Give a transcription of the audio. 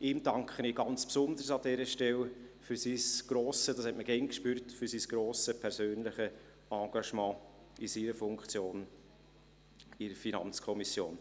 Ihm danke ich an dieser Stelle besonders für sein grosses persönliches Engagement in seiner Funktion im Rahmen der FiKo.